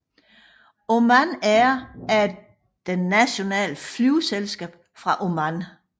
Oman Air er det nationale flyselskab fra Oman